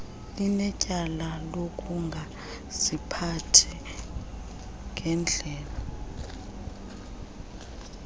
linetyala lokungaziphathi ngenndlela